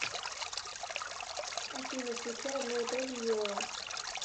афина включи одно и то же айова